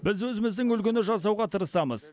біз өзіміздің үлгіні жасауға тырысамыз